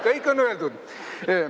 Kõik on öeldud.